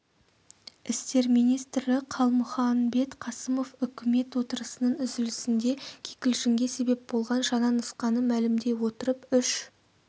істер министрі қалмұханбет қасымов үкімет отырысының үзілісінде кикілжіңге себеп болған жаңа нұсқаны мәлімдей отырып үш